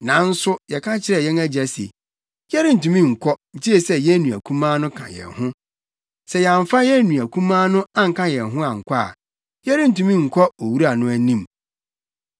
Nanso yɛka kyerɛɛ yɛn agya se, ‘Yɛrentumi nkɔ, gye sɛ yɛn nua kumaa no ka yɛn ho. Sɛ yɛamfa yɛn nua kumaa no anka yɛn ho ankɔ a, yɛrentumi nkɔ owura no anim.’